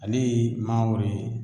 Ale ye mangoro ye